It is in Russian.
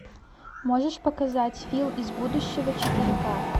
можешь показать фил из будущего четыре ка